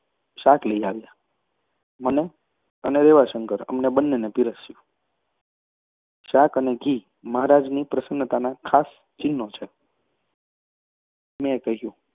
શાક લઈ આવ્યા મને અને રેવાશંકરને બંનેને પીરસ્યું. શાક અને ઘી મહારાજની પ્રસન્નતાનાં ખાસ ચિહ્નો છે. મેં કહ્યું